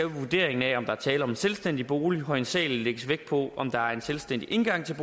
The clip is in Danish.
vurderingen af om der er tale om en selvstændig bolig hovedsagelig lægges vægt på om der er en selvstændig indgang til